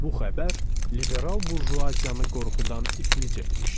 Bu xəbər liberal burjuaziyanı qorxudan iflic etmişdi.